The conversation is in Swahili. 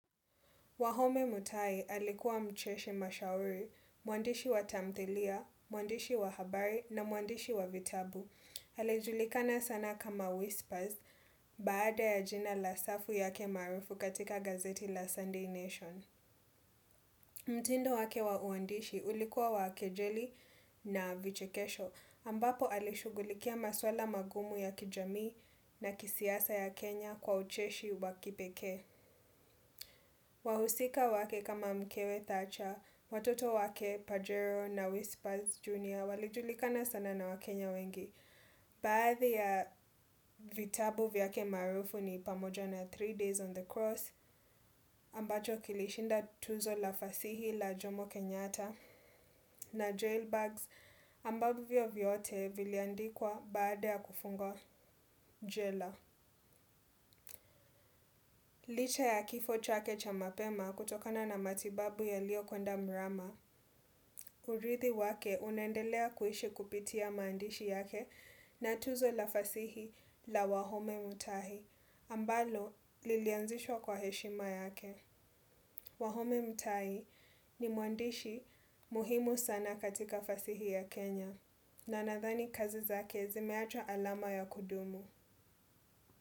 Wahome Mutai alikuwa mcheshi mashauri, mwandishi wa tamthilia, mwandishi wa habari na mwandishi wa vitabu. Alijulikana sana kama whispers baada ya jina la safu yake maarufu katika gazeti la Sunday Nation. Mtindo wake wa uandishi ulikuwa wa kejeli na vichekesho ambapo alishughulikia maswala magumu ya kijamii na kisiasa ya Kenya kwa ucheshi wa kipekee. Wahusika wake kama mkewe Thatcher, watoto wake Pajero na Whisper's Junior walijulikana sana na wakenya wengi. Baadhi ya vitabu vyake maarufu ni pamoja na three days on the cross ambacho kilishinda tuzo la fasihi la Jomo Kenyatta na joel bags ambavyo vyote viliandikwa baada ya kufungwa jela. Licha ya kifo chake cha mapema kutokana na matibabu yaliyokwenda mrama urithi wake unaendelea kuishi kupitia maandishi yake na tuzo la fasihi la Wahome Mutahi, ambalo lilianzishwa kwa heshima yake. Wahome Mutahi ni mwandishi muhimu sana katika fasihi ya Kenya na nadhani kazi zake zimeacha alama ya kudumu.